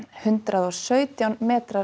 hundrað og sautján metra